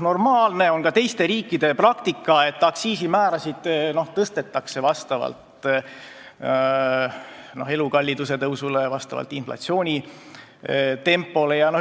normaalne – see on ka teiste riikide praktika –, et aktsiisimäärasid tõstetakse vastavalt elukalliduse tõusule, vastavalt inflatsiooni tempole.